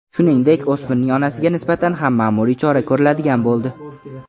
Shuningdek, o‘smirning onasiga nisbatan ham ma’muriy chora ko‘riladigan bo‘ldi.